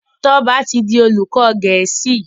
Toba tí dì olùkó gèésì.